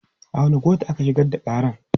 A wanne kotu aka shigar da ƙaran?